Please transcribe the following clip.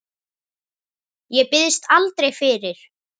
Ég biðst aldrei fyrir.